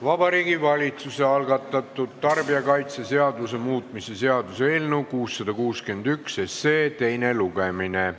Vabariigi Valitsuse algatatud tarbijakaitseseaduse muutmise seaduse eelnõu 661 teine lugemine.